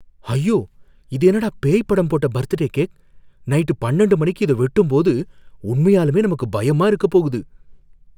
ஐயோ! இது என்னடா பேய் படம் போட்ட பர்த்டே கேக்! நைட் பண்ணண்டு மணிக்கு இத வெட்டும்போது உண்மையாலுமே நமக்கு பயமா இருக்கப் போகுது!